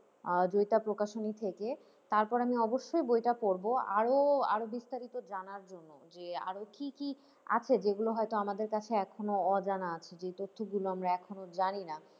আহ জয়িতা প্রকাশনী থেকে, তারপর আমি অবশ্যই বইটা পড়বো আরো আরো বিস্তারিত জানার জন্য যে আরো কি কি আছে যেগুলো হয়তো আমাদের কাছে এখনও অজানা আছে, যেই তথ্যগুলো আমরা এখনও জানিনা।